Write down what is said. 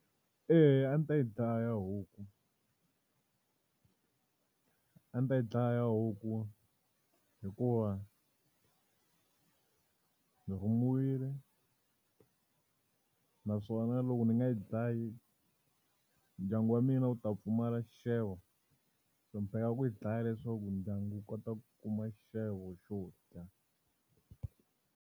Eya a ndzi ta yi dlaya huku. A ndzi ta yi dlaya huku hikuva ndzi rhumiwile. Naswona loko ndzi nga yi dlayi, ndyangu wa mina wu ta pfumala xixevo. Ku yi dlaya leswaku ndyangu wu kota ku kuma xixevo xo dya.